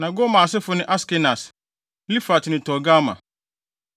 Na Gomer asefo ne Askenas, Rifat ne Togarma.